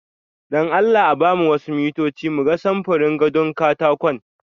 Don Allah a ba mu wasu mintoci mu ga samfurin gado katakon.